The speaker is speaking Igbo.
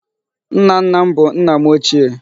Nna nna m bụ nna m ochie.